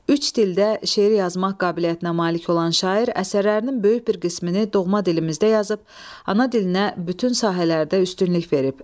Üç dildə şeir yazmaq qabiliyyətinə malik olan şair əsərlərinin böyük bir qismini doğma dilimizdə yazıb, ana dilinə bütün sahələrdə üstünlük verib.